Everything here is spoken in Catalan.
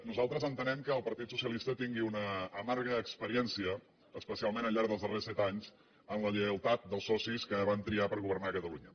nosaltres entenem que el partit socialista tingui una amarga experiència especialment al llarg dels darrers set anys en la lleialtat dels socis que van triar per governar catalunya